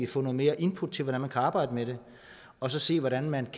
få noget mere input til hvordan man kan arbejde med det og så se hvordan man